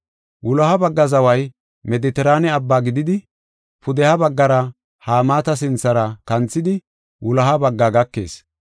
“Wuloha bagga zaway Medetiraane Abbaa gididi, pudeha baggara Hamaata sinthara kanthidi wuloha bagga gakees.